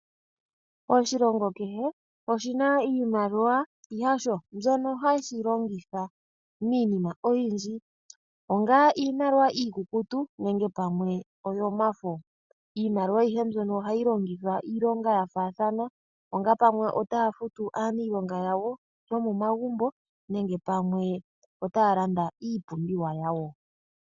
Oshilongo kehe oshina iimaliwa yasho mbyono hashi longitha miinima oyindji, ongele iimaliwa iikukutu nenge pamwe oyomafo, iimaliwa ayihe mbyono ohayi longithwa iilonga yafaathana ongele pamwe otaya futu aaniilonga yawo yomomagumbo nenge pamwe otaya landa iipumbiwa yawo.